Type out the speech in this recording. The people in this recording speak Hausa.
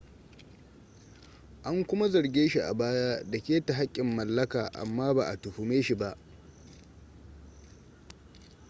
an kuma zarge shi a baya da keta haƙƙin mallaka amma ba a tuhume shi ba